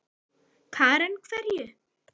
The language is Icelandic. Karen: Hverju?